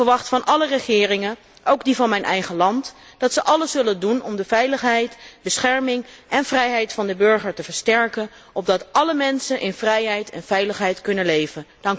Ik verwacht van alle regeringen, ook die van mijn eigen land, dat zij alles zullen doen om de veiligheid, bescherming en vrijheid van de burger te versterken, opdat alle mensen in vrijheid en veiligheid kunnen leven.